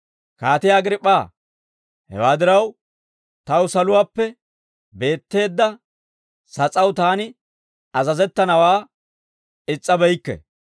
«Kaatiyaa Agriip'p'aa, hewaa diraw, taw saluwaappe beetteedda sas'aw taani azazettanawaa is's'abeykke.